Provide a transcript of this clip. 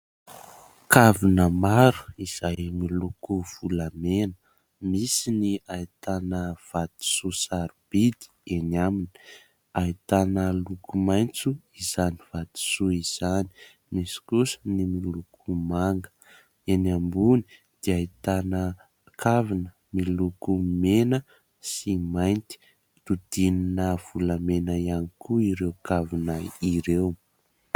kavina maro izahay miloko volamena misy ny aitana vatisoa sarobidy eny amina aitana loko maintso izany vatisoa izany misy kosa ny miloko manga eny ambony dia ahitana kavina miloko mena sy mainty dodinina volamena ihany koa ireo kavina ireo